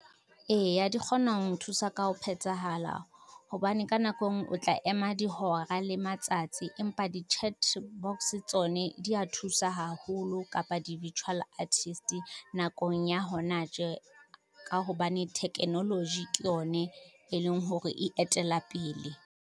Eya di kgona ho nthusa ka ho phethahala, hobane ka nako e ngwe o tla ema dihora le matsatsi empa di-chat box tsone dia thusa haholo kapa di-virtual artist nakong ya hona tje, ka hobane thekenoloji ke yone e leng hore e etela pele.